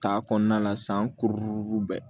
Ta kɔnɔna la san kuru bɛɛ